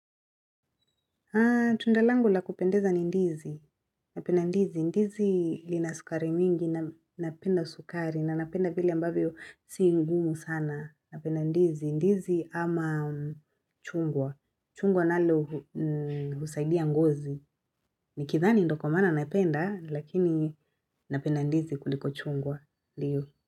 Tunda langu la kupendeza ni ndizi, napenda ndizi, ndizi lina sukari mingi, napenda sukari, na napenda vile ambavyo si ngumu sana, napenda ndizi, ndizi ama chungwa, chungwa nalo husaidia ngozi, nikidhani ndio kwa maana napenda, lakini napenda ndizi kuliko chungwa ndiyo.